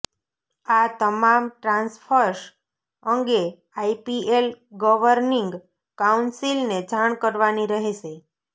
આ તમામ ટ્રાન્સફર્સ અંગે આઈપીએલ ગવર્નિંગ કાઉન્સિલને જાણ કરવાની રહેશે